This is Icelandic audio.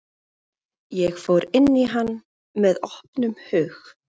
Ég fór inn í hann með opnum hug.